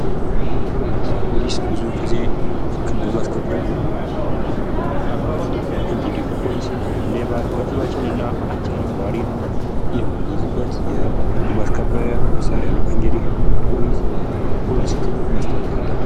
ፖሊስ ፖሊስ ብዙውን ጊዜ ሕግን በማስከበር ይህንም በአግባቡ የሕግ አካል ሲሆን እንግዲህ ፖሊስ ሌባን በጥባጭን አጨናባሪን የምንይዝበት የሕግ ማስከበሪያ መሳሪያ ነው::እንግዲህ ፖሊስ ለፖሊስ ክብር መስጠት አለብን::